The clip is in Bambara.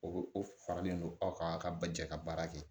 O o faralen non aw ka ba jɛ ka baara kɛ